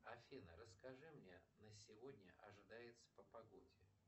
афина расскажи мне на сегодня ожидается по погоде